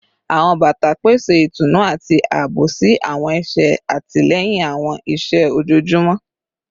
Awọn bata pese itunu ati aabo si awọn ẹsẹ, atilẹyin awọn iṣẹ ojoojumọ